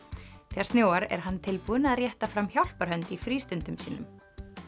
þegar snjóar er hann tilbúinn að rétta fram hjálparhönd í frístundum sínum